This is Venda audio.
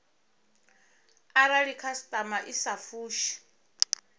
arali khasitama i sa fushi